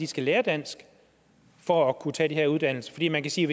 skal lære dansk for at kunne tage den her uddannelse fordi man kan sige